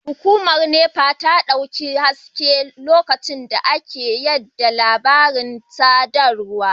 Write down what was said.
Hukumar NEPA ta dauki haske a lokacin da ake yada labaran sadarwar